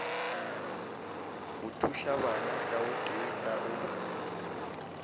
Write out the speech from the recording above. go thušabana kaotee ka o